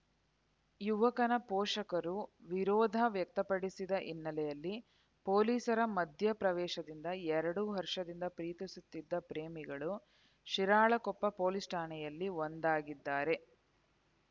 ಯುವಕನ ಪೋಷಕರು ವಿರೋಧ ವ್ಯಕ್ತಪಡಿಸಿದ ಹಿನ್ನೆಲೆಯಲ್ಲಿ ಪೊಲೀಸರ ಮಧ್ಯಪ್ರವೇಶದಿಂದ ಎರಡು ವರ್ಷದಿಂದ ಪ್ರೀತಿಸುತ್ತಿದ್ದ ಪ್ರೇಮಿಗಳು ಶಿರಾಳಕೊಪ್ಪ ಪೊಲೀಸ್‌ ಠಾಣೆಯಲ್ಲಿ ಒಂದಾಗಿದ್ದಾರೆ